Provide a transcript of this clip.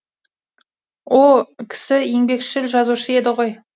о кісі еңбекшіл жазушы еді ғой